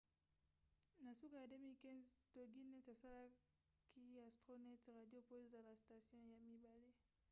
na suka ya 2015 toginet asalaki astronet radio po ezala station ya mibale